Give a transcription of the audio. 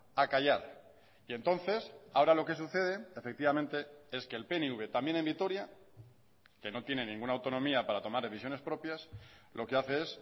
a callar y entonces ahora lo que sucede efectivamente es que el pnv también en vitoria que no tiene ninguna autonomía para tomar decisiones propias lo que hace es